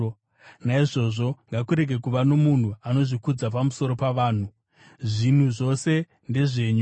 Naizvozvo ngakurege kuva nomunhu anozvikudza pamusoro pavanhu! Zvinhu zvose ndezvenyu,